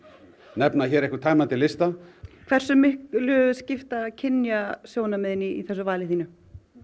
nefna hér einhvern tæmandi lista hversu miklu skipta kynjasjónarmiðin í þessu vali þínu